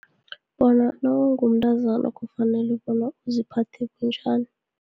Bona nawungumntazana kufanele bona uziphathe bunjani.